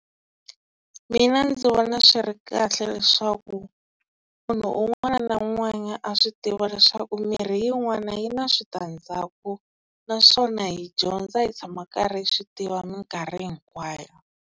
Mina ndzi vona swi ri kahle, leswaku munhu un'wana na un'wana a swi tiva leswaku mirhi yin'wana yi na switandzhaku naswona hi dyondza hi tshama karhi hi swi tiva minkarhi hinkwayo.